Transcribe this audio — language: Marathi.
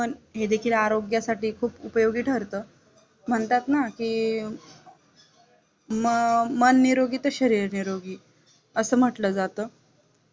हे देखील आरोग्यासाठी खुप उपयोगी ठरत म्हणतात ना कि म मन निरोगी तर शरीर निरोगी असं म्हटलं जात